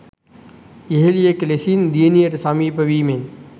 යෙහෙළියක ලෙසින් දියණියට සමීප වීමෙන්.